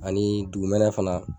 Ani dugumɛnɛ fana